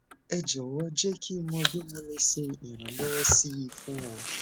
ẹ jọwọ jẹ kí n mọ bí mo lè ṣe iranwọ sí i fún ọ